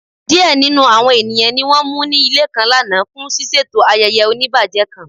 Diẹ̀ nínu àwọn ènìyàn ní wọ́n mú ní ilẹ̀ kan lána fún sisẹ̀tọ̀ ayéyé ọ̀níbàjẹ̀ kan.